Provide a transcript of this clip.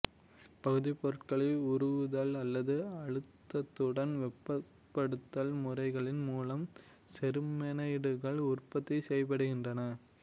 பகுதிப் பொருட்களை உருகுதல் அல்லது அழுத்தத்துடன் வெப்பப்படுத்தல் முறைகளின் மூலம் செருமேனைடுகள் உற்பத்தி செய்யப்படுகின்றன